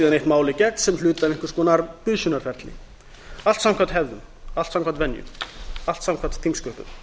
mál í gegn sem hluta af einhvers konar busunarferli alls samkvæmt hefðum allt samkvæmt venju allt samkvæmt þingsköpum